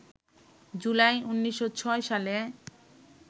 জুলাই, ১৯০৬ সালে